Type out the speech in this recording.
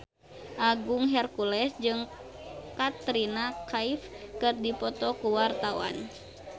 Agung Hercules jeung Katrina Kaif keur dipoto ku wartawan